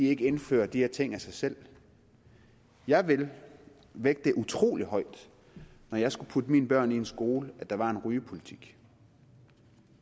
ikke indfører de her ting af sig selv jeg ville vægte utrolig højt når jeg skulle putte mine børn i skole at der var en rygepolitik